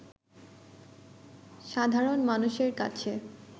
সাধারণ মানুষের কাছে